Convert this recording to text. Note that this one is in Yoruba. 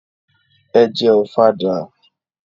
Ẹ jẹ Ọ̀fadà!